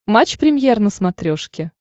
матч премьер на смотрешке